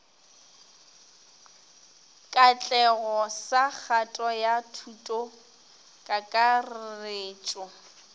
katlego sa kgato ya thutokakarretšo